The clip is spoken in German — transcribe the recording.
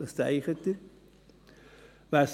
Was denken Sie?